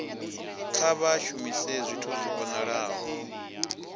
kha vha shumise zwithu zwi vhonalaho